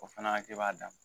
O fana hakɛ b'a da ma